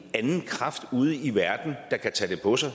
anden kraft ude i verden der kan tage det på sig